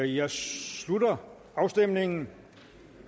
jeg slutter afstemningen